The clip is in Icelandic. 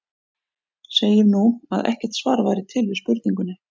Segjum nú, að ekkert svar væri til við spurningunni.